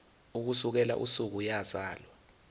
ukusukela usuku eyazalwa